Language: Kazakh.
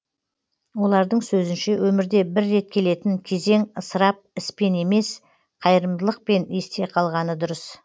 олардың сөзінше өмірде бір рет келетін кезең ысырап іспен емес қайырымдылықпен есте қалғаны дұрыс